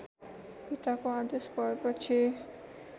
पिताको आदेश भएपछि